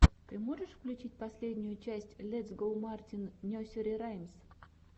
ты можешь включить последнюю часть летс гоу мартин несери раймс